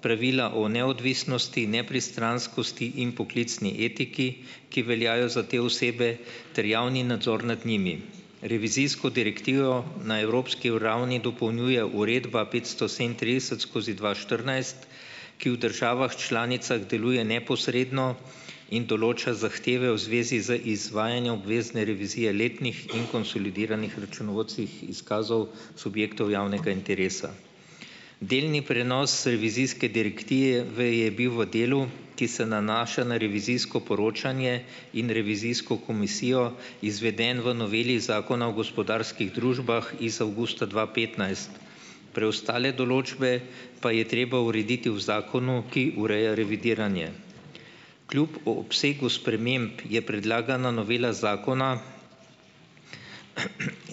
pravila o neodvisnosti nepristranskosti in poklicni etiki, ki veljajo za te osebe ter javni nadzor nad njimi. Revizijsko direktivo na evropski ravni dopolnjuje uredba petsto sedemintrideset skozi dva štirinajst, ki v državah članicah deluje neposredno in določa zahteve v zvezi z izvajanjem obvezne revizije letnih in konsolidiranih računovodskih izkazov subjektov javnega interesa. Delni prenos revizijske direktive je bil v delu, ki se nanaša na revizijsko poročanje in revizijsko komisijo, izveden v noveli zakona o gospodarskih družbah iz avgusta dva petnajst. Preostale določbe pa je treba urediti v zakonu, ki ureja revidiranje. Kljub obsegu sprememb predlagana novela zakona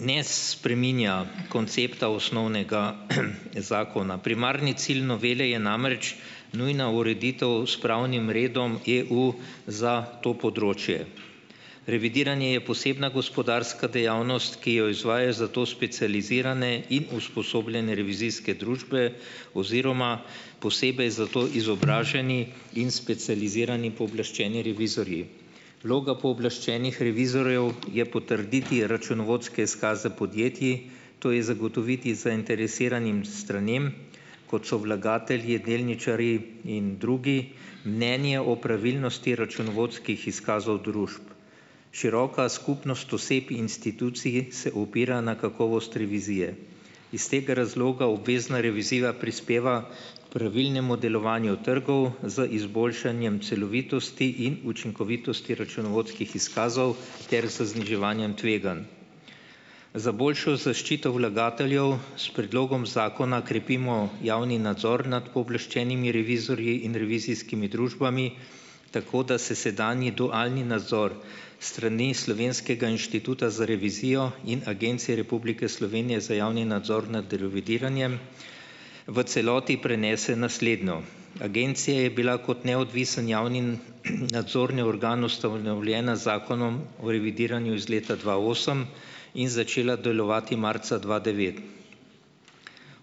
ne, spreminja koncepta osnovnega zakona, primarni cilj novele je namreč nujna ureditev s pravnim redom EU za to področje. Revidiranje je posebna gospodarska dejavnost, ki jo izvajajo za to specializirane in usposobljene revizijske družbe oziroma posebej za to izobraženi in specializirani pooblaščeni revizorji. Vloga pooblaščenih revizorjev je potrditi računovodske izkaze podjetij, to je zagotoviti zainteresiranim stranem, kot so vlagatelji, delničarji in drugi, mnenje o pravilnosti računovodskih izkazov družb. Široka skupnost osep instituciji se opira na kakovost revizije. Iz tega razloga obvezna revizija prispeva pravilnemu delovanju trgov z izboljšanjem celovitosti in učinkovitosti računovodskih izkazov ter z zniževanjem tveganj. Za boljšo zaščito vlagateljev s predlogom zakona krepimo javni nadzor nad pooblaščenimi revizorji in revizijskimi družbami, tako da se sedanji dualni nadzor s strani slovenskega inštituta za revizijo in Agencije Republike Slovenije za javni nadzor nad revidiranjem v celoti prenese na slednjo. Agencija je bila kot neodvisen javni nadzorni organ ustanovljena Zakonom o revidiranju iz leta dva osem in začela delovati marca dva devet.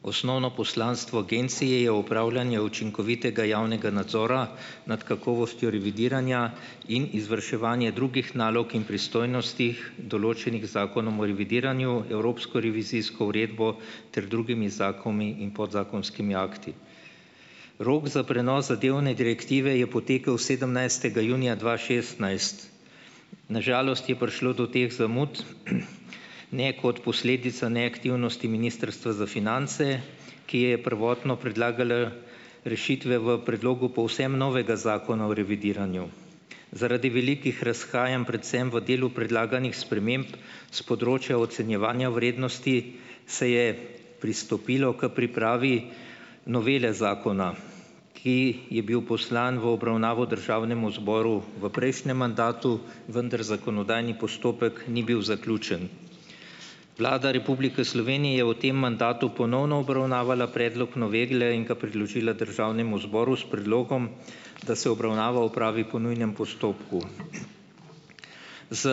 Osnovno poslanstvo agencije je opravljanje učinkovitega javnega nadzora nad kakovostjo revidiranja in izvrševanje drugih nalog in pristojnosti, določenih z Zakonom o revidiranju, evropsko revizijsko uredbo ter drugimi zakoni in podzakonskimi akti. Rok za prenos zadevne direktive je potekel sedemnajstega junija dva šestnajst. Na žalost je prišlo do teh zamud ne kot posledica neaktivnosti ministrstva za finance, ki je prvotno predlagal rešitve v predlogu povsem novega zakona o revidiranju. Zaradi velikih razhajanj predvsem v delu predlaganih sprememb s področja ocenjevanja vrednosti se je pristopilo k pripravi novele zakona, ki je bil poslan v obravnavo državnemu zboru v prejšnjem mandatu, vendar zakonodajni postopek ni bil zaključen. Vlada Republike Slovenije je o tem mandatu ponovno obravnavala predlog novele in ga priložila državnemu zboru s predlogom, da se obravnava opravi po nujnem postopku. Z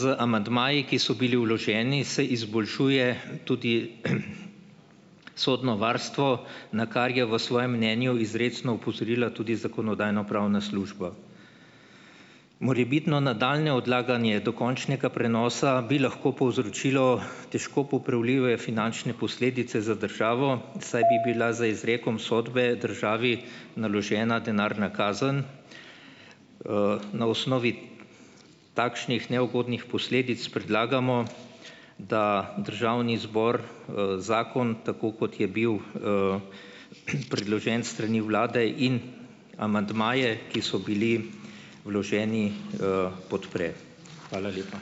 z amandmaji, ki so bili vloženi, se izboljšuje tudi sodno varstvo, na kar je v svojem mnenju izrecno opozorila tudi zakonodajno-pravna služba. Morebitno nadaljnje odlaganje dokončnega prenosa bi lahko povzročilo težko popravljive finančne posledice za državo, saj bi bila z izrekom sodbe državi naložena denarna kazen. Na osnovi takšnih neugodnih posledic predlagamo, da državni zbor, zakon, tako kot je bil, predložen s strani vlade, in amandmaje, ki so bili vloženi, podpre. Hvala lepa.